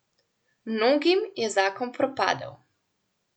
Mnogim je zakon propadel.